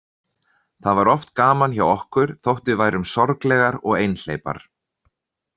Það var oft gaman hjá okkur þótt við værum sorglegar og einhleypar.